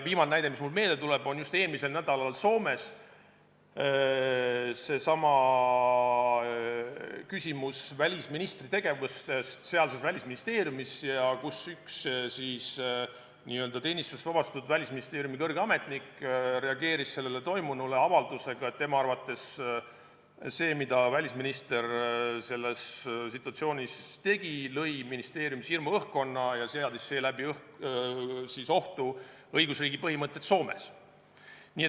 Viimane näide, mis mulle meelde tuleb, on just eelmisel nädalal Soomes tõstatunud küsimus välisministri tegevusest sealses välisministeeriumis, kus üks teenistusest vabastatud kõrge ametnik reageeris toimunule avaldusega, et tema arvates see, mida välisminister selles situatsioonis tegi, lõi ministeeriumis hirmuõhkkonna ja seadis seeläbi ohtu õigusriigi põhimõtted.